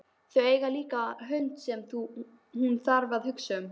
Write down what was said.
Þau eiga líka hund sem hún þarf að hugsa um.